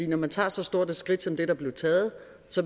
når man tog så stort et skridt som det der blev taget